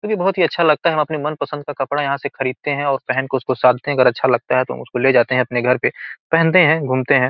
वो भी बोहोत ही अच्छा लगता है हम अपने मनपसंद का कपड़ा यहाँ से खरीदते हैं और पहन के उसको और अगर अच्छा लगता है तो हम उसको ले जाते हैं अपने घर पे पहनते हैं घूमते हैं।